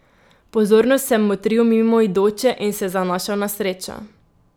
Pozorno sem motril mimoidoče in se zanašal na srečo.